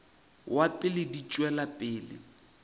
wa pele di tšwela pele